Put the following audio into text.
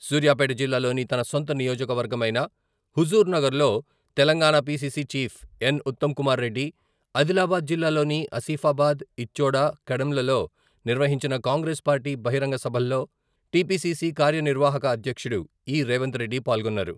సూర్యాపేట జిల్లాలోని తన సొంత నియోజకవర్గమైన హుజూర్ నగర్ లో తెలంగాణ పీసీసీ చీఫ్ ఎన్.ఉత్తమ్ కుమార్ రెడ్డి, ఆదిలాబాద్ జిల్లాలోని ఆసిఫాబాద్, ఇచ్చోడ, కడెంలలో నిర్వహించిన కాంగ్రెస్ పార్టీ బహిరంగ సభల్లో టీపీసీసీ కార్యనిర్వాహక అధ్యక్షుడు ఇ.రేవంత్ రెడ్డి పాల్గొన్నారు.